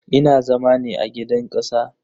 Ina zama ne a gidan kasa.